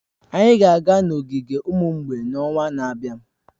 Anyị ga-aga n'ogige ụmụ mgbei n'ọnwa na-abịa